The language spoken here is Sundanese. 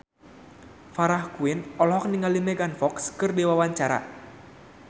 Farah Quinn olohok ningali Megan Fox keur diwawancara